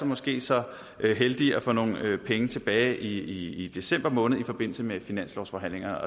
måske så heldige at få nogle penge tilbage i december måned i forbindelse med finanslovsforhandlingerne